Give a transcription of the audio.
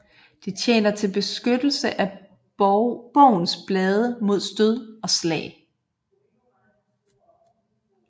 Det tjener til beskyttelse af bogens blade mod stød og slag